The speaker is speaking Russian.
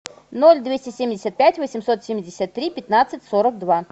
ноль двести семьдесят пять восемьсот семьдесят три пятнадцать сорок два